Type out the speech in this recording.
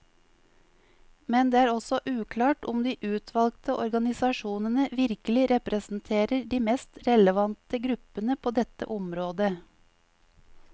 Men det er også uklart om de utvalgte organisasjonene virkelig representerer de mest relevante gruppene på dette området.